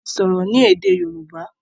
wón ti sọrọ ní èdè yorùbá